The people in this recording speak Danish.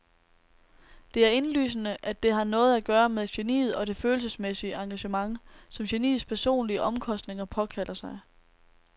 Det er indlysende, at det har noget at gøre med geniet og det følelsesmæssige engagement, som geniets personlige omkostninger påkalder sig.